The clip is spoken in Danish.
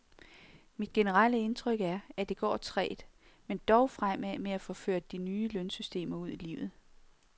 Mit generelle indtryk er, at det går trægt, men dog fremad med at få ført de nye lønsystemer ud i livet.